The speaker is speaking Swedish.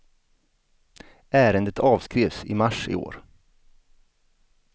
Ärendet avskrevs i mars i år.